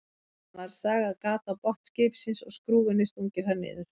Síðan var sagað gat á botn skipsins og skrúfunni stungið þar niður.